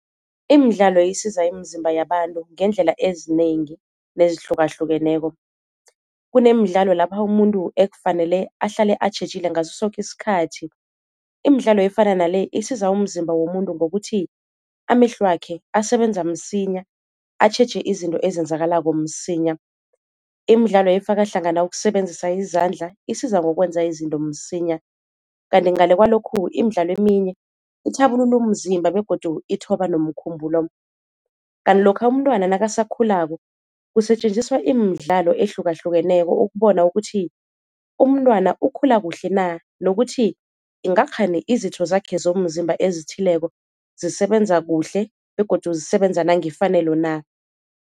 Imidlalo isiza imizimba yabantu ngeendlela ezinengi nezihlukahlukeneko, kunemidlalo lapha umuntu ekufanele ahlale atjhejile ngaso soke isikhathi, imidlalo efana nale isiza umzimba womuntu ngokuthi amehlo wakhe asebenza msinya atjheje izinto ezenzakalako msinya, imidlalo efaka hlangana ukusebenzisa izandla isiza ngokwenza izinto msinya. Kanti ngale kwalokhu imidlalo eminye ithabulula umzimba begodu ithoba nomkhumbulo. Kanti lokha umntwana nakasakhulako kusetjenziswa imidlalo ehlukahlukeneko ukubona ukuthi umntwana ukhula kuhle na nokuthi ingakghani izitho zakhe zomzimba ezithileko zisebenza kuhle begodu zisebenza nangefanelo na.